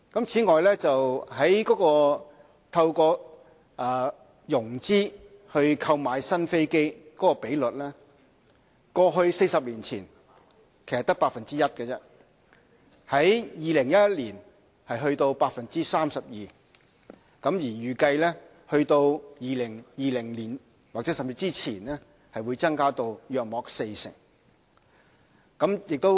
此外，透過融資購買新飛機的比率 ，40 年前只是 1%， 在2011年達到 32%， 而預計在2020年甚至之前將增加至約四成。